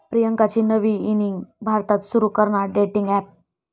प्रियांकाची नवी इनिंग, भारतात सुरू करणार डेटिंग अॅप